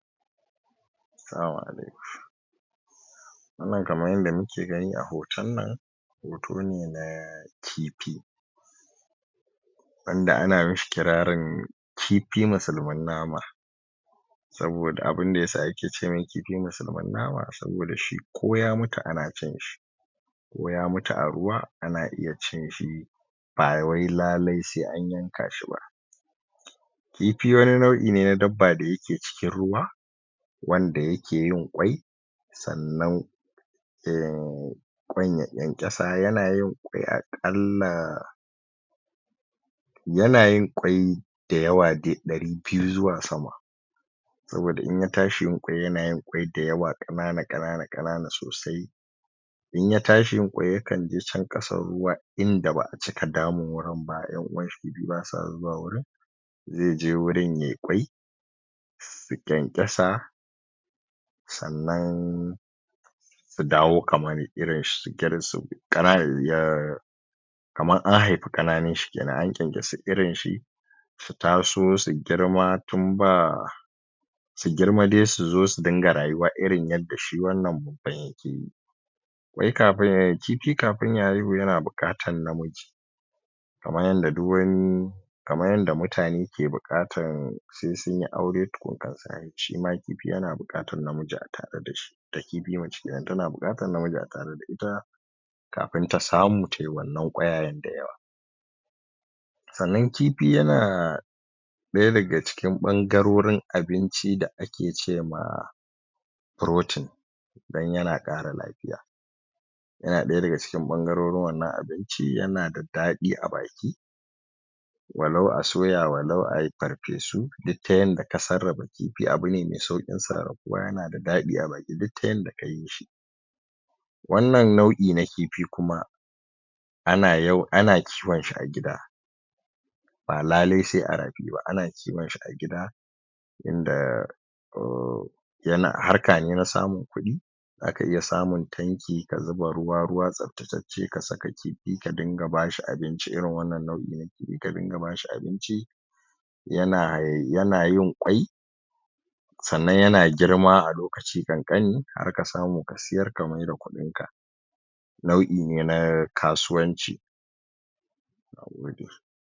Salamu alaikum wannan kaman yadda muke gani a hoton nan hoto ne na kifi wanda ana mishi kirarin kifi musulmin nama saboda abinda yasa ake ce mai kifi musulmin nama, saboda shi ko ya mutu ana cin shi ko ya mutu a ruwa ana iya cin shi ba wai lalai sai an yanka shi ba kifi wani nau'i ne na dabba da yake cikin ruwa wanda yake yin ƙwai sannan emm, ƙwai yayi ƙyanƙyasa, yana yin ƙwai aƙalla yana yin ƙwai da yawa dai ɗari biyu zuwa sama saboda in ya tsahi yin ƙwai yana yin ƙwai da yawa, ƙanana, ƙanana, ƙanana sosai in ya tsahi yin ƙwai yakan je can ƙasan ruwa inda ba'a cika damun wurin ba, ƴan'uwan shi kifi basa zuwa wurin ze je wurin yai ƙwai su ƙyanƙyasa sannan su dawo kaman irin shi, jikin su ƙanana kaman an haifi ƙananun shi kenan, an ƙyanƙyasu irin shi su taso su girma tun ba su girma dai, su zo su dinga rayuwa irin yadda shi wannan babban yake yi ƙwai kafin, kifi kafin ya haihu yana buƙatan na miji kaman yadda duk wani kaman yadda mutane ke buƙatan sai sunyi aure tukun, shi ma kifi yana na miji a tare da shi da kifi na mace kenan, tana buƙatan na miji a tare da ita kafin ta samu tai wannan ƙwayayen da yawa sannan kifi yana ɗaya daga cikin ɓangarorin abinci da ake ce ma protein dan yana ƙara lafiya yana ɗaya daga cikin ɓangarorin wannan abinci, yana da daɗi a baki walau a soya, walau ai farfesu duk ta yanda ka sarrafa kifi, abu ne me sauƙin sarrafuwa yana da daɗi a baki duk ta yadda ka yi shi wannan nau'i na kifi kuma ana kiwon shi a gida ba lalai sai a rafi ba, ana kiwon shi a gida inda ohh, yana harka ne, na samun kuɗi zaka iya samun tanki, ka zuba ruwa, ruwa tsabtacacce, ka saka kifi ka dinga ba shi abinci, irin wannan nau'i na kifi, ka dinga ba shi abinci yana yin ƙwai sannan yana girma a lokaci ƙanƙani har ka samu ka siyar ka maida kuɗin ka nau'i ne na kasuwanci na gode.